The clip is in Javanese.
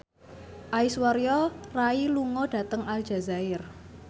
Aishwarya Rai lunga dhateng Aljazair